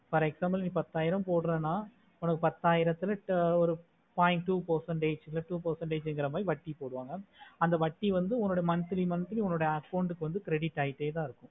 For example நீ பத்தயிரம் போடுரான உனக்கு பத்தஈரத்துல ஒரு point two percentage நா two percentage மாதிரி வட்டி போடுவாங்க அந்த வட்டி வந்து monthly monthly உன்னோட account கு credit ஆய்ட்டேதான் இருக்கும்